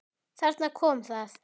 Þarna kom það.